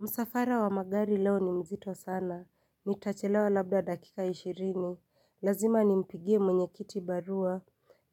Msafara wa magari leo ni mzito sana, nitachelewa labda dakika ishirini, lazima nimpigie mwenye kiti barua,